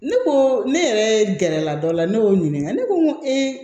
Ne ko ne yɛrɛ gɛrɛla dɔ la ne y'o ɲininka ne ko n ko